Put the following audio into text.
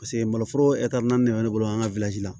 Paseke maloforo naani de bɛ ne bolo an ka